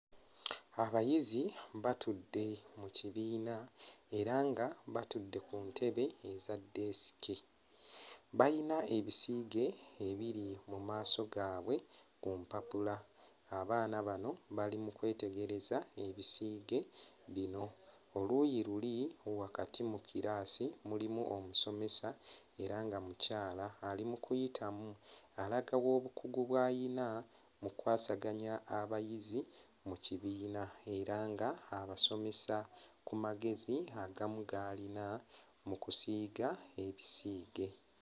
Abayizi batudde mu kibiina era nga batudde ku ntebe eza desk, bayina ebisiige ebiri mu maaso gaabwe ku mpapula, abaana bano bali mu kwetegereza ebisiige bino, oluuyi luli wakati mu kiraasi mulimu omusomesa era nga mukyala ali mu kuyitamu alaga obukugu bw'alina mu kukwasaganya abayizi mu kibiina era nga abasomesa ku magezi agamu g'alina mu kusiiga ebisiige.